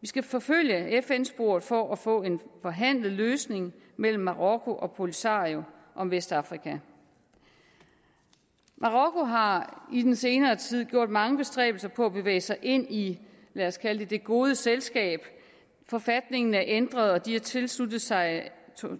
vi skal forfølge fn sporet for at få en forhandlet løsning mellem marokko og polisario om vestafrika marokko har i den senere tid gjort mange bestræbelser på at bevæge sig ind i lad os kalde det det gode selskab forfatningen er ændret og de har tilsluttet sig